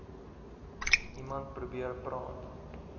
iemand probeer praat